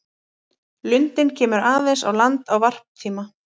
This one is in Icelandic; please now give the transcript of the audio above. Lundinn kemur aðeins á land á varptíma.